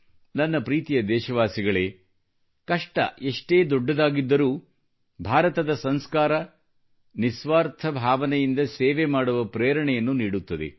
ನನ್ನ ಪ್ರೀತಿಯ ದೇಶವಾಸಿಗಳೇ ಕಷ್ಟ ಎಷ್ಟೇ ದೊಡ್ಡದಾಗಿದ್ದರೂ ಭಾರತದ ಸಂಸ್ಕಾರ ನಿಸ್ವಾರ್ಥ ಭಾವನೆಯಿಂದ ಸೇವೆ ಮಾಡುವ ಪ್ರೇರಣೆಯನ್ನು ನೀಡುತ್ತದೆ